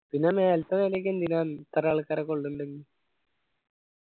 പിന്നെ മേലെത്തെ നിലയൊക്കെ എന്തിനാ ഇത്ര ആൾക്കാരെ കൊള്ളുന്നുണ്ടെങ്കിൽ